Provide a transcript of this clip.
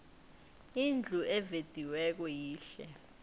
indlu evediweko yihle